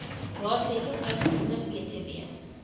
raadsheffings uitgesonderd btw